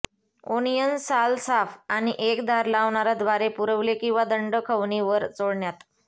onions साल साफ आणि एक धार लावणारा द्वारे पुरवले किंवा दंड खवणी वर चोळण्यात